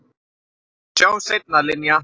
Sjáumst seinna, Linja.